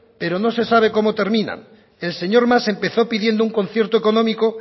pero no se sabe cómo terminan el señor mas empezó pidiendo un concierto económico